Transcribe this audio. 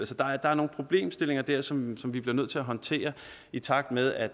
så der er nogle problemstillinger der som vi bliver nødt til at håndtere i takt med at